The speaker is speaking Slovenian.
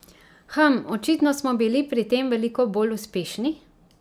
Hm, očitno smo bili pri tem veliko bolj uspešni!